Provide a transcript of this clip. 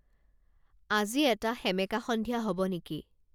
আজি এটা সেমেকা সন্ধিয়া হ'ব নেকি